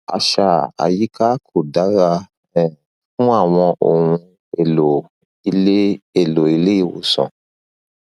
àṣà àyíká kò dára um fún àwọn ohun èlò ilé èlò ilé ìwòsàn